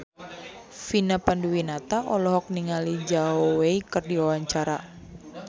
Vina Panduwinata olohok ningali Zhao Wei keur diwawancara